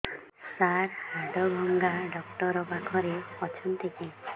ସାର ହାଡଭଙ୍ଗା ଡକ୍ଟର ପାଖରେ ଅଛନ୍ତି କି